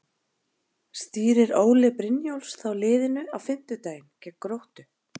Stýrir Óli Brynjólfs þá liðinu á fimmtudaginn gegn Gróttu?